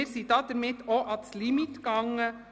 Wir sind aber bei einem Limit angelangt.